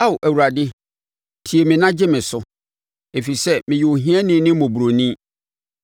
Ao Awurade, tie me na gye me so, ɛfiri sɛ meyɛ ohiani ne mmɔborɔni.